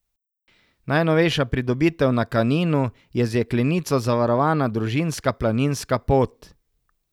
Najnovejša pridobitev na Kaninu je z jeklenico zavarovana družinska planinska pot.